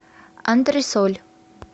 антресоль